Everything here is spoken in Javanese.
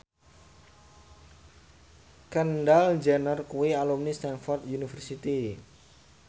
Kendall Jenner kuwi alumni Stamford University